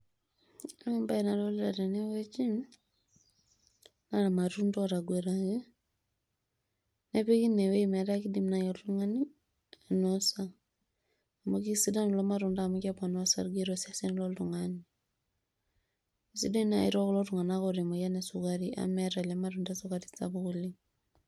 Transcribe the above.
Ore embaye nadolita tenewueji naa irmatunda ootaguetaki nepiki ine weuji metaa keidim naaji oltung'ani ainosa amu keisidan kulo matunda amu keponaa orsarge tosesen loltung'ani keisidai naaji tekulo tung'anak oota emoyian esukare amu meeta ele matunda esukari sapuk oleng.